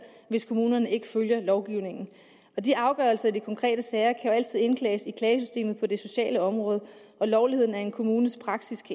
hvis kommunerne ikke følger lovgivningen de afgørelser i de konkrete sager kan jo altid indklages i klagesystemet på det sociale område og lovligheden af en kommunes praksis